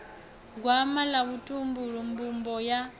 gwama ḽa vhutumbuli mbumbo ya